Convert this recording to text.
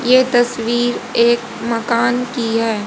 ये तस्वीर एक मकान की है।